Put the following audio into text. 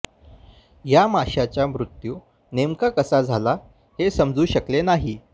या माशाच्या मृत्यू नेमका कसा झाला हे समजू शकले नाही